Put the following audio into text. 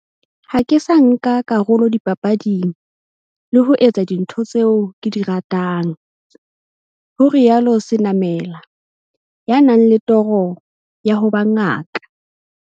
Ha ke sa nka karolo dipapading, le ho etsa dintho tseo ke di ratang, ho rialo Senamela, ya nang le toro ya ho ba ngaka.